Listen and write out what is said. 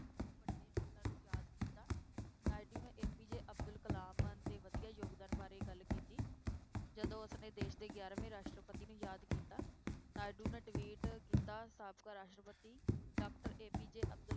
ਨਾਇਡੂ ਨੇ APJ ਅਬਦੁਲ ਕਲਾਮ ਦੇ ਵਧੀਆ ਯੋਗਦਾਨ ਬਾਰੇ ਗੱਲ ਕੀਤੀ ਜਦੋਂ ਉਸਨੇ ਦੇਸ ਦੇ ਗਿਆਰਵੇਂ ਰਾਸ਼ਟਰਪਤੀ ਨੂੰ ਯਾਦ ਕੀਤਾ, ਨਾਇਡੂ ਨੇ tweet ਕੀਤਾ ਸਾਬਕਾ ਰਾਸ਼ਟਰਪਤੀ doctor APJ ਅਬਦੁਲ